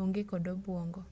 onge kod obuongo